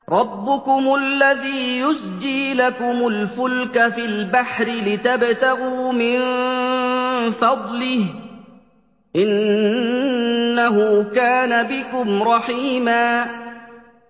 رَّبُّكُمُ الَّذِي يُزْجِي لَكُمُ الْفُلْكَ فِي الْبَحْرِ لِتَبْتَغُوا مِن فَضْلِهِ ۚ إِنَّهُ كَانَ بِكُمْ رَحِيمًا